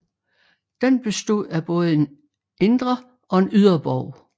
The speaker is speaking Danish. Den bestod af både en indre og en ydre borg